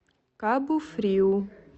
кабу фриу